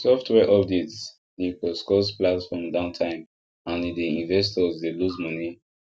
software updates dey cause cause platform downtime and e dey investors dey lose money